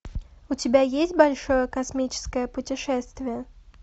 у тебя есть большое космическое путешествие